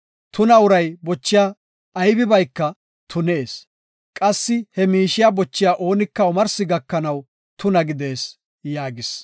Tuna uray bochiya aybibayka tunees; qassi he miishiya bochiya oonika omarsi gakanaw tuna gidees” yaagis.